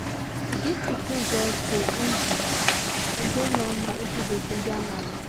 to give pikin breast go easy um and dey normal if we dey ginja mama